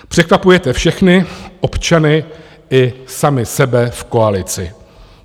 Překvapujete všechny občany i sami sebe v koalici.